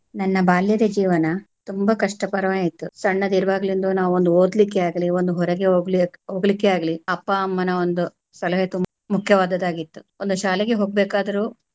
ನನ್ನ ಬಾಲ್ಯದ ಜೀವನ ತುಂಬ ಕಷ್ಟಕರವಾಗಿತ್ತು ಸಣ್ಣದಿರುವಾಗಲಿಂದೂ ನಾವು ಒಂದು ಓದಲಿಕ್ಕೆ ಆಗಲಿ ಒಂದು ಹೊರಗೆ ಹೋಗ~ ಹೋಗಲಿಕ್ಕೆ ಆಗಲಿ ಅಪ್ಪ ಅಮ್ಮನ ಒಂದು ಸಲಹೆ ತುಂಬಾ ಮುಖ್ಯವಾದದ್ದು ಆಗಿತ್ತು ಒಂದು ಶಾಲೆಗೆ ಹೋಗ್ಬೇಕಾದ್ರು.